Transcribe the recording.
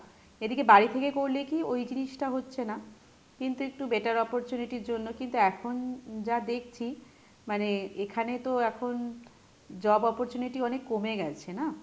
এদিকে বাড়ি থেকে করলে কী ওই জিনিসটা হচ্ছে না, কিন্তু একটু better opportunity ইর জন্য কিন্তু এখন যা দেখছি মানে এখানে তো এখন job opportunity অনেক কমে গেছে না,